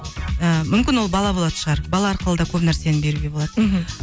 ыыы мүмкін ол бала болатын шығар бала арқылы да көп нәрсені беруге болады мхм